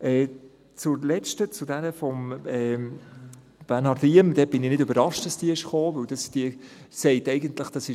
Zur letzten Planungserklärung, jener von Bernhard Riem: Ich bin nicht überrascht, dass diese gekommen ist.